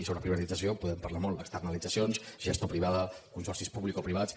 i sobre privatització en podem parlar molt externalitzacions gestió privada consorcis publicoprivats